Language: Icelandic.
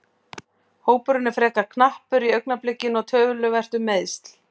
Hópurinn er frekar knappur í augnablikinu og töluvert um meiðsl.